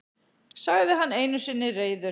sagði hann einu sinni reiður.